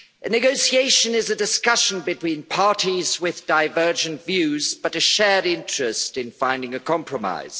Negotiation is a discussion between parties with divergent views but a shared interest in finding a compromise.